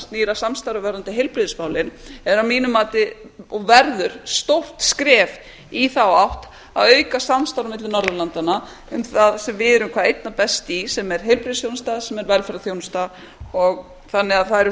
snýr að samstarfi varðandi heilbrigðismálin er að mínu mati og verður stórt skref í þá átt að auka samstarf á milli norðurlandanna um það sem við erum hvað einna best í sem er heilbrigðisþjónusta sem er velferðarþjónustu þannig að það eru